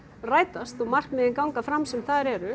rætast og markmiðin ganga fram sem þar eru